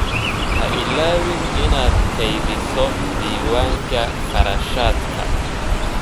Ha ilaawin inaad kaydiso diiwaanka kharashaadka.